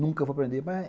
Nunca vou aprender.